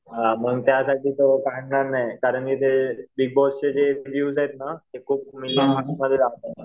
हां मग त्यासाठी त्याला काढणार नाही कारण की ते बिगबॉसचे जे विव्ह्ज आहेत ना ते खूप म्हणजे